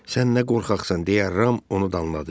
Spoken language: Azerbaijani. Sən nə qorxaqsan deyə, Ram onu danladı.